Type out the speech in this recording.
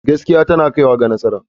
Gaskiya tana kaiwa ga nasara.